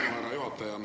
Aitäh, härra juhataja!